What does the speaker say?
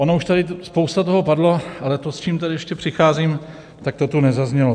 Ono už tady spousta toho padlo, ale to, s čím tady ještě přicházím, tak to tu nezaznělo.